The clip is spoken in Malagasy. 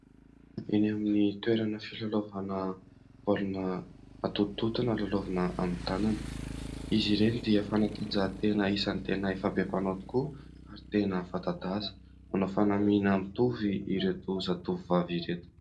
Eny amin'ny toerana filalaovana baolina atotototona, lalaovina amin'ny tanana ; izy ireny dia fanatanjahantena isan'ny tena efa be mpanao tokoa ary tena fanta-daza. Manao fanamiana mitovy ireto zatovovavy ireto.